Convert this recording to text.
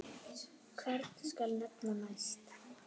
Hvern skal nefna næst?